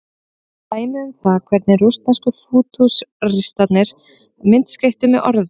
Dæmi um það hvernig rússnesku fútúristarnir myndskreyttu með orðum.